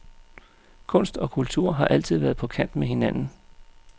Kunst og kultur har altid været på kant med hinanden.